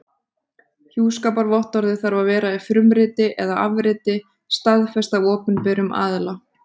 Hjúskaparvottorðið þarf að vera í frumriti eða afrit staðfest af opinberum aðila.